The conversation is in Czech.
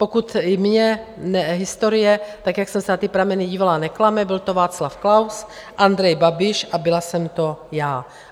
Pokud mě historie, tak jak jsem se na ty prameny dívala, neklame, byl to Václav Klaus, Andrej Babiš a byla jsem to já.